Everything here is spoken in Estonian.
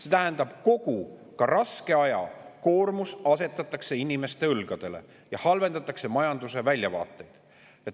See tähendab, et kogu raske aja koormus asetatakse inimeste õlgadele ja halvendatakse majanduse väljavaateid.